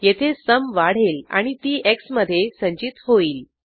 येथे सुम वाढेल आणि ती एक्स मधे संचित होईल